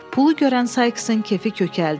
Pulu görən Sayksın kefi kökəldi.